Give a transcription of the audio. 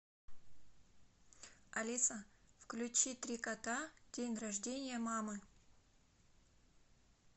алиса включи три кота день рождения мамы